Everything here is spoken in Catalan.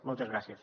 moltes gràcies